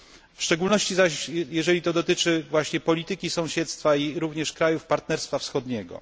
W szczególności zaś, jeżeli dotyczy to właśnie polityki sąsiedztwa i również krajów partnerstwa wschodniego.